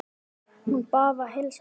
Hún bað að heilsa þér.